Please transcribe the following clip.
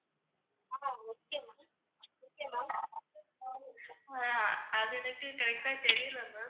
அது எதுக்குன்னு correct ஆ தெரியல ma'am